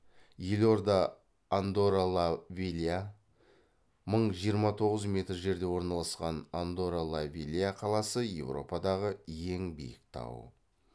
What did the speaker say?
елорда андорра ла велья мың жиырма тоғыз метр жерде орналасқан андорра ла велья қаласы европадағы ең биік тау